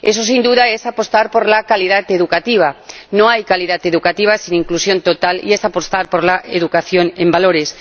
Eso, sin duda, es apostar por la calidad educativa —no hay calidad educativa sin inclusión total— y es apostar por la educación en valores.